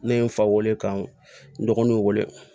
Ne ye n fa weele ka n dɔgɔninw wele